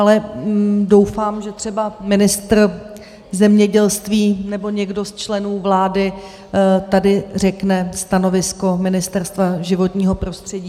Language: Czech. Ale doufám, že třeba ministr zemědělství nebo někdo ze členů vlády tady řekne stanovisko Ministerstva životního prostředí.